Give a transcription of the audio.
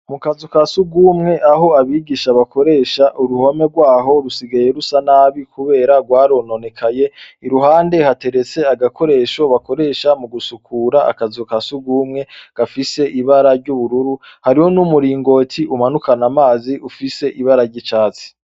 Mukazu kasugumwe aho abigisha bakoresha uruhome rwaho rusigaye rusa nabi kubera rwarononekaye iruhande hateretse agakoresho bakoresha mugusukura akazu kasugumwe gafise ibara ry’ubururu hariho n’umuringoti umanukana amazi ufise ibara ry’icatsi.